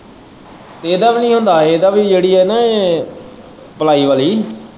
ਇਹਦਾ ਵੀ ਨੀ ਹੁੰਦਾ ਇੱਦਾ ਵੀ ਜਿਹੜੀ ਇਹ ਨਾ ਪਲਾਈ ਵਾਲ਼ੀ।